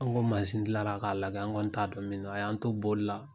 Anw ko mazin gilala k'a lajɛ, anw kɔni t'a dɔn min don. A y'an to boli la